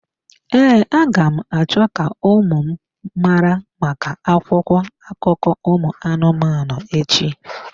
Ee, aga m acho ka ụmụ m mara maka akwụkwọ akụkọ ụmụ anụmanụ echi.